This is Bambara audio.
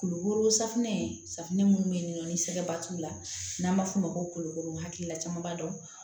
Kulukoro safunɛ safunɛ minnu bɛ yen nɔ ni sɛgɛba t'u la n'an b'a f'o ma ko kolokolo hakilila caman b'a dɔn